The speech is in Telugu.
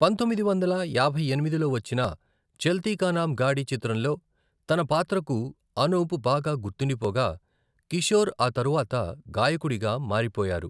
పంతొమ్మిది వందల యాభై ఎనిమిదిలో వచ్చిన 'చల్తీ కా నామ్ గాడి' చిత్రంలో తన పాత్రకు అనూప్ బాగా గుర్తుండిపోగా, కిషోర్ ఆ తరవాత గాయకుడిగా మారిపోయారు.